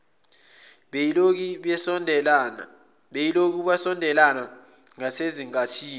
beyilokhu besondelela ngasenkathini